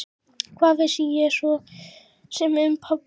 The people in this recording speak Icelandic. Hvað vissi ég svo sem um pabba?